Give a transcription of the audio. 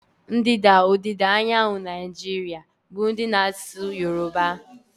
Ndịda ọdịda anyanwụ Naijiria bụ ndị na-asụ yoruba.